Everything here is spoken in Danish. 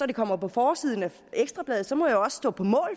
det kommer på forsiden af ekstra bladet så må jeg jo også stå på mål